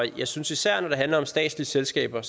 jeg synes især når det handler om statslige selskaber